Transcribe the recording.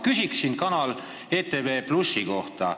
Aga ma palun sinu hinnangut ETV+ kanali kohta.